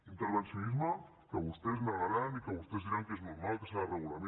intervencionisme que vostès negaran i que vostès diran que és normal que s’ha de regular